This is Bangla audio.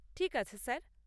ঠিক আছে স্যার।